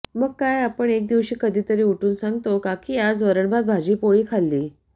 मग काय आपण एक दिवशी कधीतरी उठून सांगतो का की आज वरणभात भाजी पोळी खाल्ली